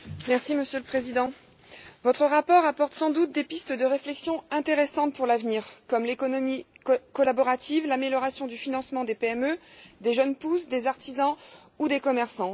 Monsieur le Président, votre rapport trace sans doute des pistes de réflexion intéressantes pour l'avenir, comme l'économie collaborative, l'amélioration du financement des PME, des jeunes pousses, des artisans ou des commerçants.